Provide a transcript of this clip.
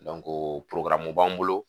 mun b'an bolo